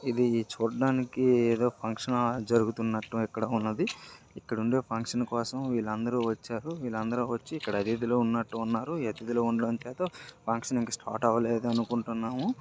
ఇది చూడడానికి ఏదో ఫంక్షన్ ఆ జరుగుతున్నట్టు ఇక్కడ ఉన్నది. ఇక్కడ ఉండే ఫంక్షన్ కోసం వీళ్ళందరూ వచ్చారు వీళ్ళందరూ వచ్చి అతిథులు ఉన్నట్టున్నారు ఈ అతిథులు ఉండతమ్ వాళ్ళ ఫంక్షన్ అయితే ఇంకా స్టార్ట్ అవ్వలేదు అనుకుంటున్నాము.